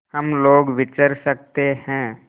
हम लोग विचर सकते हैं